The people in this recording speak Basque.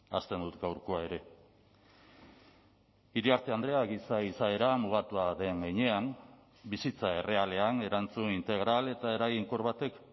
hasten dut gaurkoa ere iriarte andrea giza izaera mugatua den heinean bizitza errealean erantzun integral eta eraginkor batek